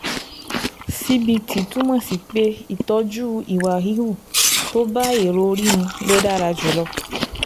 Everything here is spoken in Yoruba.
CBT túmọ̀ sí pé ìtọ́jú ìwà híhù tó bá èrò orí mu ló dára jùlọ